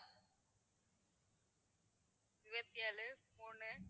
இருபத்தி ஏழு மூணு